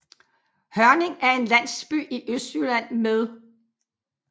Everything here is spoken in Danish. Hørning er en landsby i Østjylland med